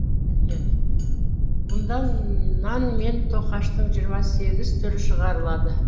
мұнда нан мен тоқаштың жиырма сегіз түрі шығарылады